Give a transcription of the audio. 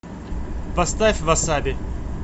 поставь васаби